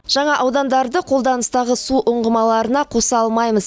жаңа аудандарды қолданыстағы су ұңғымаларына қоса алмаймыз